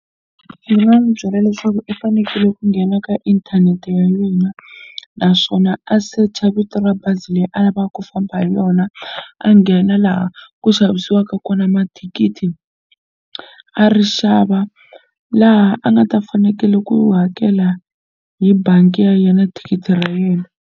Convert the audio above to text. Ndzi nga n'wi byela leswaku i fanekele ku nghena ka inthanete ya yena naswona a search vito ra bazi leyi a lavaka ku famba hi yona a nghena laha ku xavisiwaka kona mathikithi a ri xava laha a nga ta fanekele ku hakela hi bangi ya yena thikithi ra yena.